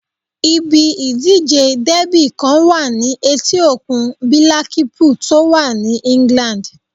Ibi ìdíje dẹ́bì kan wà ní etí òkun bílákípùl tó wà ní England